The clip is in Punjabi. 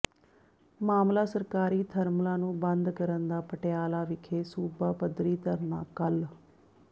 ਮਾਮਲਾ ਸਰਕਾਰੀ ਥਰਮਲਾਂ ਨੂੰ ਬੰਦ ਕਰਨ ਦਾ ਪਟਿਆਲਾ ਵਿਖੇ ਸੂਬਾ ਪੱਧਰੀ ਧਰਨਾ ਕੱਲ੍ਹ